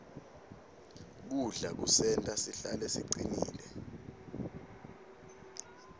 kudla kusenta sihlale sicinile